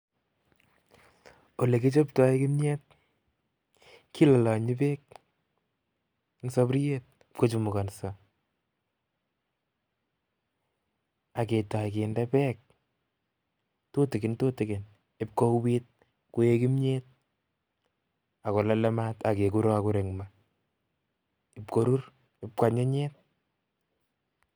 Ole kichobto kimnyet, kilolonyi bek eng soburyet kochumukonso, aketoi kinde bek tutikin tutikin ibkouwit, koek kimnyet akolole maat akekurokur eng maa, ibkorur, ibkwanyinyit.